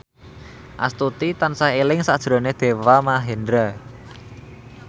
Astuti tansah eling sakjroning Deva Mahendra